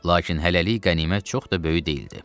Lakin hələlik qənimət çox da böyük deyildi.